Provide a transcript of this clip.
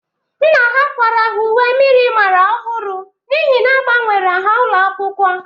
Nna ha kwara ha uwe myịrịmara ọhụrụ n'ihi na agbanwere ha ụlọakwụkwọ.